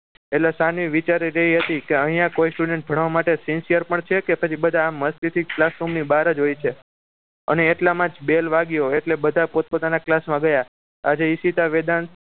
એટલે સાનવી વિચારી રહી હતી કે અહીંયા કોઈ student ભણવા માટે sincere પણ છે કે પછી બધા આમ મસ્તીથી જ classroom ની બહાર જ હોય છે અને એટલામાં જ ball વાગ્યો એટલે બધા પોતપોતાના class માં ગયા આજે ઈશિતા વેદાંશ